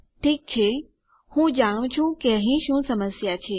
ઠીક છે હું જાણું છું કે અહીં શું સમસ્યા છે